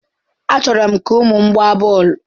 Achọrọ m ka ụmụ m gbaa bọọlụ.